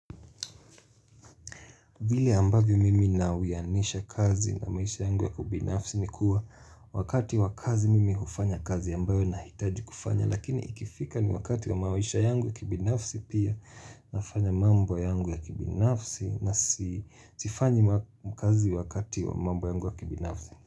Vili ambavyo mimi nawianisha kazi na maisha yangu ya kibinafsi ni kuwa wakati wakazi mimi hufanya kazi ambayo nahitaji kufanya lakini ikifika ni wakati wa maisha yangu ya kibinafsi pia nafanya mambo yangu ya kibinafsi na sifanyi kazi wakati wa mambo yangu ya kibinafsi.